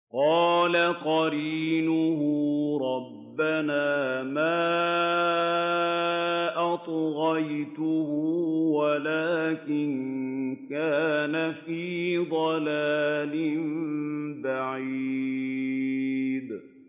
۞ قَالَ قَرِينُهُ رَبَّنَا مَا أَطْغَيْتُهُ وَلَٰكِن كَانَ فِي ضَلَالٍ بَعِيدٍ